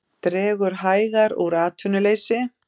Dregur hægar úr atvinnuleysi